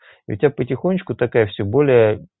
у тебя потихонечку такая все более